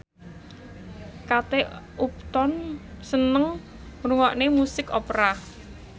Kate Upton seneng ngrungokne musik opera